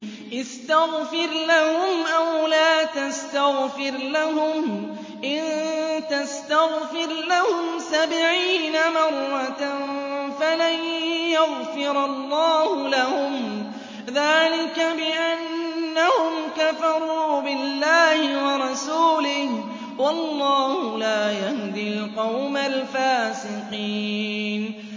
اسْتَغْفِرْ لَهُمْ أَوْ لَا تَسْتَغْفِرْ لَهُمْ إِن تَسْتَغْفِرْ لَهُمْ سَبْعِينَ مَرَّةً فَلَن يَغْفِرَ اللَّهُ لَهُمْ ۚ ذَٰلِكَ بِأَنَّهُمْ كَفَرُوا بِاللَّهِ وَرَسُولِهِ ۗ وَاللَّهُ لَا يَهْدِي الْقَوْمَ الْفَاسِقِينَ